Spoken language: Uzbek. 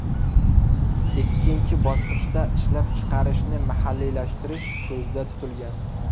Ikkinchi bosqichda ishlab chiqarishni mahalliylashtirish ko‘zda tutilgan.